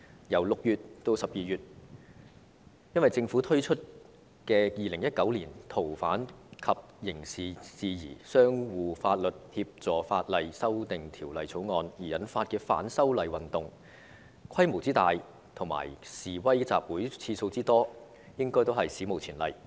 在6月至12月期間，因為政府推出《2019年逃犯及刑事事宜相互法律協助法例條例草案》而引發的反修例運動，規模之大和示威集會次數之多，應屬史無前例。